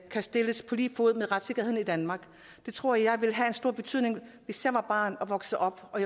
kan stilles på lige fod med retssikkerheden i danmark det tror jeg ville have stor betydning hvis jeg var barn og voksede op og